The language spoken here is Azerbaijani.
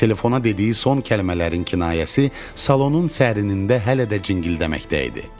Telefona dediyi son kəlmələrin kinayəsi salonun zərrəsində hələ də cingildəməkdə idi.